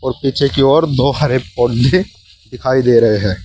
पीछे की और दो हरे पौधे दिखाई दे रहे हैं।